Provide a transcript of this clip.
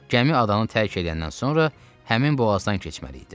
Gəmi adanı tərk edəndən sonra həmin boğazdan keçməli idi.